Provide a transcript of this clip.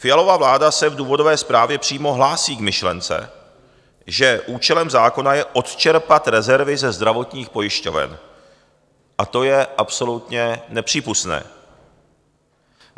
Fialova vláda se v důvodové zprávě přímo hlásí k myšlence, že účelem zákona je odčerpat rezervy ze zdravotních pojišťoven, a to je absolutně nepřípustné.